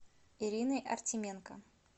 ирины артеменко